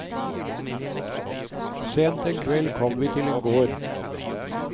Seint en kveld kom vi til en gård.